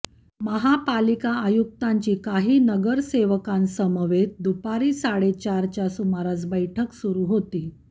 महापालिका आयुक्तांची काही नगरसेवकांसमवेत दुपारी साडेचारच्या सुमारास बैठक सुरू होती